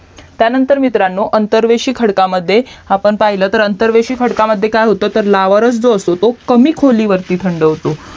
त्यानंतर मित्रांनो अंतरवेशी खडकामध्ये आपण पहिलं तर अंतरवेशी खडकामध्ये काय होत तर लावारस जो असतो कमी खोलीवरती थंड होतो